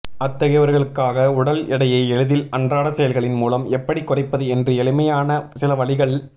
அத்தகையவர்களுக்காக உடல் எடையை எளிதில் அன்றாட செயல்களின் மூலம் எப்படி குறைப்பது என்று எளிமையான சில வழிகள்